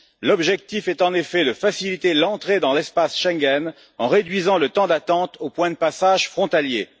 L'objectif est, en effet, de faciliter l'entrée dans l'espace Schengen en réduisant le temps d'attente aux points de passage frontaliers.